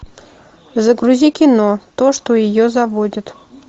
загрузи кино то что ее заводит